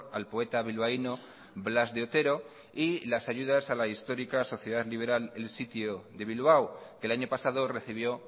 al poeta bilbaíno blas de otero y las ayudas a la histórica sociedad liberal el sitio de bilbao que el año pasado recibió